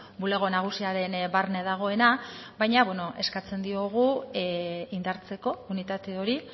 bulego nagusiaren barne dagoena baina eskatzen diogu indartzeko unitate hori